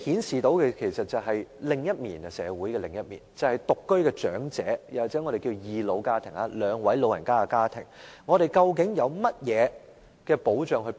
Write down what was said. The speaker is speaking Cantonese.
這其實顯示社會的另一面，便是獨居長者又或我們稱為"二老家庭"，即兩位長者組成的家庭的情況。